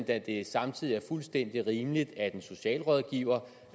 at det samtidig er fuldstændig rimeligt at en socialrådgiver